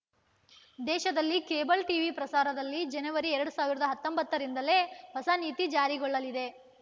ದೇಶದಲ್ಲಿ cable TV ಪ್ರಸಾರದಲ್ಲಿ ಜನವರಿ ಎರಡ್ ಸಾವಿರದ ಹತ್ತೊಂಬತ್ತರಿಂದಲೇ ಹೊಸ ನೀತಿ ಜಾರಿಗೊಳ್ಳಲಿದೆ